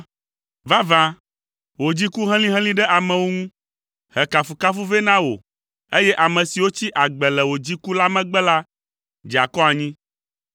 Vavã, wò dziku helĩhelĩ ɖe amewo ŋu, he kafukafu vɛ na wò, eye ame siwo tsi agbe le wò dziku la megbe la dze akɔ anyi.